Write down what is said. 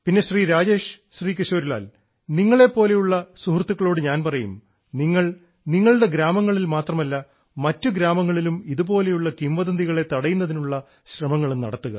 പിന്നെ ശ്രീ രാജേഷ് ശ്രീ കിശോരി ലാൽ നിങ്ങളെപ്പോലെയുള്ള സുഹൃത്തുക്കളോട് ഞാൻ പറയും നിങ്ങൾ നിങ്ങളുടെ ഗ്രാമങ്ങളിൽ മാത്രമല്ല മറ്റു ഗ്രാമങ്ങളിലും ഇതുപോലെയുള്ള കിംവദന്തികളെ തടയുന്നതിനുള്ള ശ്രമങ്ങളും നടത്തുക